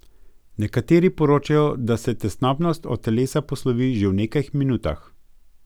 Nekateri poročajo, da se tesnobnost od telesa poslovi že v nekaj minutah.